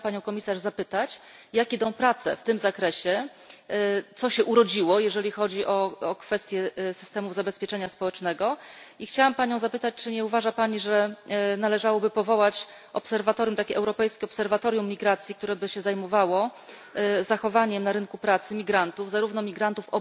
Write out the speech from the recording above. Chciałam Panią Komisarz zapytać jak idą prace w tym zakresie, co się urodziło jeżeli chodzi o o kwestię systemów zabezpieczenia społecznego i chciałam Panią zapytać, czy nie uważa Pani, że należałoby powołać takie Europejskie Obserwatorium Migracji, które by się zajmowało zachowaniem na rynku pracy imigrantów, zarówno tych migrantów